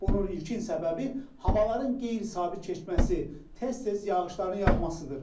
Bunun ilkin səbəbi havaların qeyri-sabit keçməsi, tez-tez yağışların yağmasıdır.